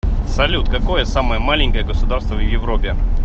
салют какое самое маленькое государство в европе